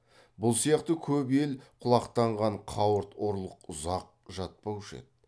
бұл сияқты көп ел құлақтанған қауырт ұрлық ұзақ жатпаушы еді